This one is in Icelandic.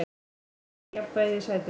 Hann missti jafnvægið í sætinu.